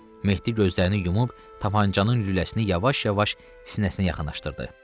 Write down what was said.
Mehdi gözlərini yumub tapançanın lüləsini yavaş-yavaş sinəsinə yaxınlaşdırdı.